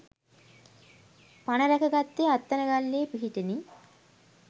පණ රැක ගත්තේ අත්තනගල්ලේ පිහිටෙනි.